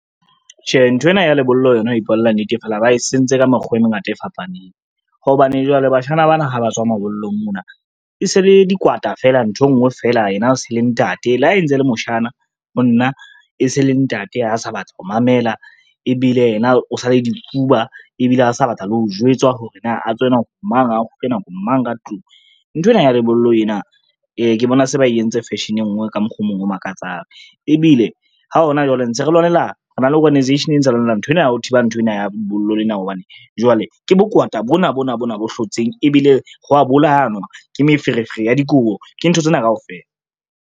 Tjhe, nthwena ya lebollo yona ho ipolella nnete fela ba e sentse ka mekgwa e mengata e fapaneng, hobane jwale bashana ba na ha ba tswa mabollong mona, e se le dikweta fela ntho e ngwe feela yena a se le ntate. Le ha e ntse le moshana, ho nna e se le ntate ha a sa batla ho mamela ebile yena o sa le difuba ebile ha sa batla le ho jwetswa hore na a tswe nako mang a kgutle nako mang ka tlung. Nthwena ya lebollo ena ke bona se ba entse fashion e ngwe ka mokgwa o mong o makatsang, ebile ha hona jwale re na le organisation e ntse lwanela nthwena ya ho thiba nthwena ya lebollo lena hobane jwale, ke bokwata bona bona bona bo hlotseng ebile ho a bolayanwa, ke meferefere ya dikobo, ke ntho tsena kaofela.